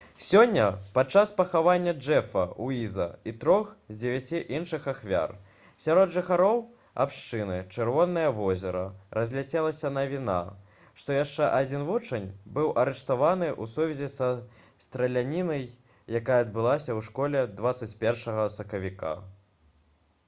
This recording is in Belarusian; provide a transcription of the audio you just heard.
сёння падчас пахавання джэфа уіза і трох з дзевяці іншых ахвяр сярод жыхароў абшчыны «чырвонае возера» разляцелася навіна што яшчэ адзін вучань быў арыштаваны ў сувязі са стралянінай якая адбылася ў школе 21 сакавіка